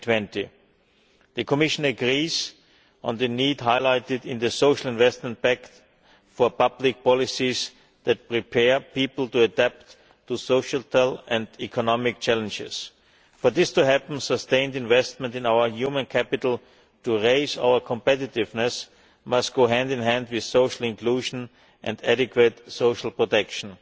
2020. The Commission agrees on the need, highlighted in the Social Investment Pact, for public policies that prepare people to adapt to societal and economic challenges. For this to happen, sustained investment in our human capital to raise our competitiveness must go hand in hand with social inclusion and proper social protection.